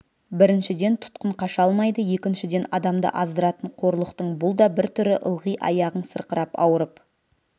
біріншіден тұтқын қаша алмайды екіншіден адамды аздыратын қорлықтың бұл да бір түрі ылғи аяғың сырқырап ауырып